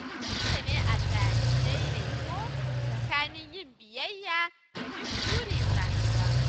Dole ne a sami daidaito tsakanin yin biyayya da bin burin rayuwa.